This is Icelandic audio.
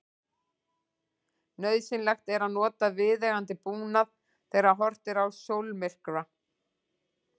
Nauðsynlegt er að nota viðeigandi búnað þegar horft er á sólmyrkva.